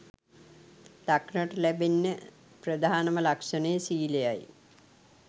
දක්නට ලැබෙන්න ප්‍රධාන ම ලක්ෂණය ශීලය යි.